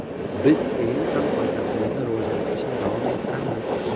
Biz keyin ham poytaxtimizni rivojlantirishni davom ettiramiz.